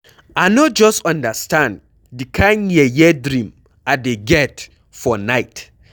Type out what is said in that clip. I no just understand the kin yeye dream I dey get for night.